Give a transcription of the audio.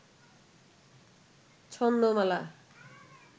ছন্দমালা